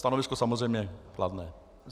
Stanovisko samozřejmě kladné.